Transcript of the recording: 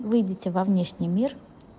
выйдите во внешний мир